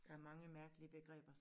Der mange mærkelige begreber